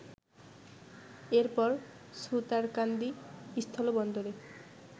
এরপর সুতারকান্দি স্থলবন্দরে